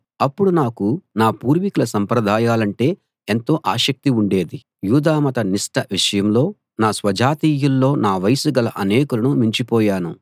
అప్పుడు నాకు నా పూర్వీకుల సంప్రదాయాలంటే ఎంతో ఆసక్తి ఉండేది యూదా మత నిష్ఠ విషయంలో నా స్వజాతీయుల్లో నా వయసు గల అనేకులను మించిపోయాను